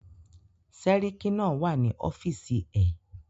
Sẹ́ríkí náà wà ní ọ́fìsì ẹ̀.